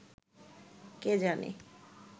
কে জানে